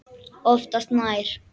Oftast nær